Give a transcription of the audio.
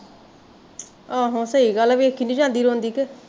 ਆਹੋ ਸਹੀ ਗੱਲ ਐ ਵੇਖੀ ਨੀ ਜਾਂਦੀ ਰੋਂਦੀ ਕਿ